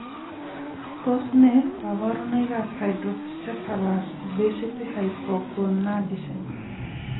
Tos ne kaborunoik ab hydrocephalus obesity hypogonadism